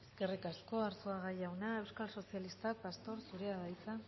eskerrik asko arzuaga jauna euskal sozialista pastor jauna zurea da hitza